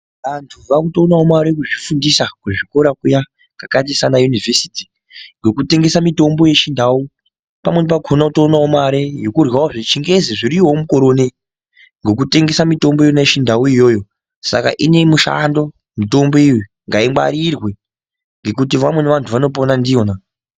Antu vanotoonawo mari nekuzvifundisa kuzvikora kuya kakaita saana yunivhesiti ngokutengesa mitombo yachiNdau. Pamweni pakona votoonawo mare yekudyawo zvechingezi zviriyowo mukore unoyu ngokutengesa mitombo iyona yechindau iyoyo. Saka ine mushando mitombo iyoyo, ngaingwarirwe ngokuti vamweni vantu vanopona ndiyona.